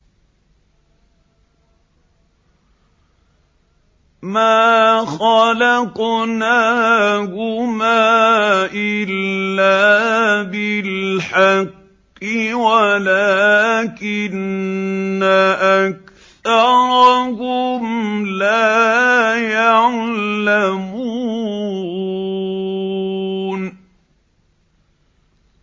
مَا خَلَقْنَاهُمَا إِلَّا بِالْحَقِّ وَلَٰكِنَّ أَكْثَرَهُمْ لَا يَعْلَمُونَ